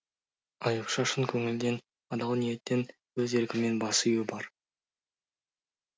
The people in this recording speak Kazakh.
аюпша шын көңілден адал ниеттен өз еркімен бас ию бар